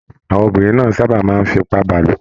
Àwọn obìnrin na sábà máa n f'ipabalo.